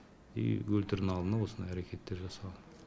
и өлтірдің алдында осындай әрекеттер жасаған